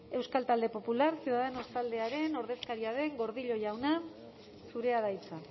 euskal talde popular ciudadanos taldearen ordezkaria den gordillo jauna zurea da hitza